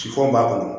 Sifan b'a bolo